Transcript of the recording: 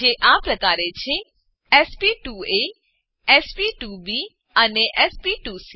જે આ પ્રકારે છે sp2એ sp2બી અને sp2સી